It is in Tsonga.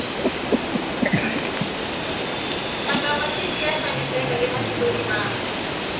matamatisi ya xaviseka ematikweni mambe